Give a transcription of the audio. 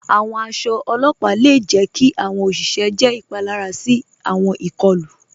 Àwọn àṣọ ọlọ́pà le jẹ̀ kí àwọn oṣìṣẹ jẹ́ ipalara sí àwọn ikọ̀lu.